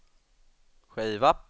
skiva